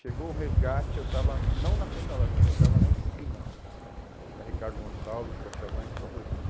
Chegou o resgate, eu estava não na frente da loja, mas eu estava na esquina da Ricardo Gonçalves, com a Chavantes, com a Rua oriente.